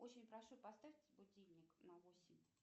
очень прошу поставьте будильник на восемь